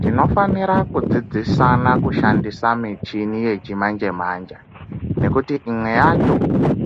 Tinofanira kudzidzisana kushandisa michini yechimanje-manje nekuti imwe yacho